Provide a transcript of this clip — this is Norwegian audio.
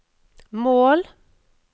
mål